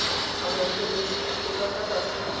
amogelesegile ka fa tlase ga